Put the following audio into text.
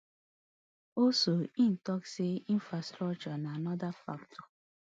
also e tok say infrastructure na anoda factor